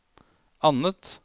annet